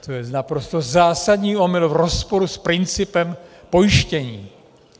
To je naprosto zásadní omyl v rozporu s principem pojištění.